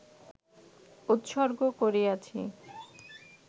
উৎসর্গ করিয়াছি